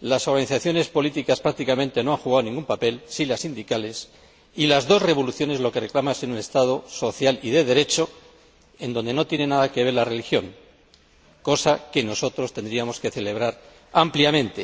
las organizaciones políticas prácticamente no han jugado ningún papel —sí las sindicales— y las dos revoluciones lo que reclaman es un Estado social y de Derecho, en donde no tiene nada que ver la religión, cosa que nosotros tendríamos que celebrar ampliamente.